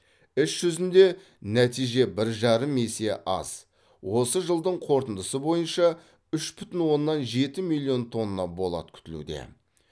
іс жүзінде нәтиже бір жарым есе аз осы жылдың қорытындысы бойынша үш бүтін оннан жеті миллион тонна болат күтілуде